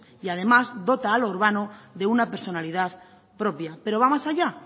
y además dota a lo urbano de una personalidad propia pero va más allá